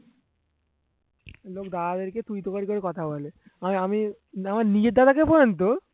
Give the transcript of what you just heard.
লোক দাদাদেরকে তুই তুকারি করে কথা বলে হয় আমি আমার নিজের দাদাকে পর্যন্ত